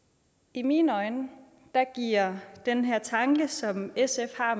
i mine øjne giver den her tanke som sf har